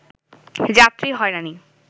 যাত্রী হয়রানি